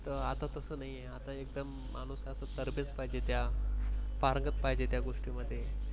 तर आता तसं नाही आहे आता कसं एकदम spark च पाहिजे त्या व्यक्तीमध्ये